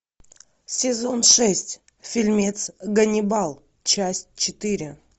сезон шесть фильмец ганнибал часть четыре